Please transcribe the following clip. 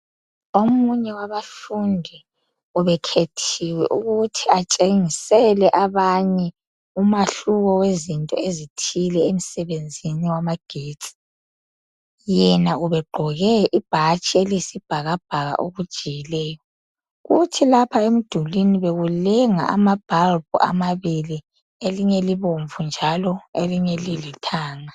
omunye wabafundi ubekhethiwe ukuthi atshengisele abanye umahluko wezinto ezithile emsebenzini wabagetsi yena ubegqoke ibhatshi eliyisibhakabhaka okujiyileyo kuthi lapha emdulini bekulenga ama bulb amabili elinye libomvu njalo elinye lilithanga